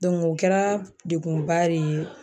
o kɛra degunba re ye